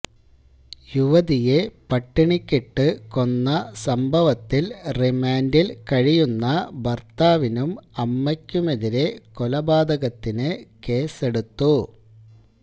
യുവതിയെ പട്ടിണിക്കിട്ടു കൊന്ന സംഭവത്തില് റിമാന്ഡില് കഴിയുന്ന ഭര്ത്താവിനും അമ്മയ്ക്കുമെതിരെ കൊലപാതകത്തിന് കേസെടുത്തു